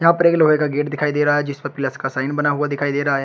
यहाँ पर एक लोहे का गेट दिखाई दे रहा है जिस पे प्लस का साइन बना हुआ दिखाई दे रहा है।